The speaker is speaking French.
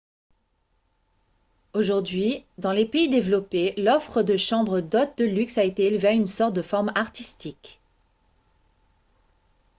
aujourd'hui dans les pays développés l'offre de chambres d'hôtes de luxe a été élevée à une sorte de forme artistique